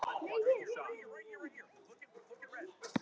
Afi var maður lausna.